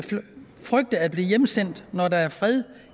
frygte at blive hjemsendt når der er fred